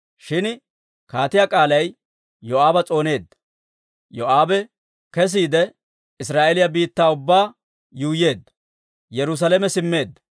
Shin kaatiyaa k'aalay Yoo'aaba s'ooneedda. Yoo'aabe kesiide, Israa'eeliyaa biittaa ubbaa yuuyyeedda; Yerusaalame simmeedda.